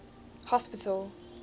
hospital